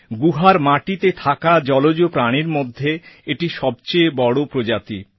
গুহার মাটিতে থাকা জলজ প্রাণীর মধ্যে এটি সবচেয়ে বড় প্রজাতি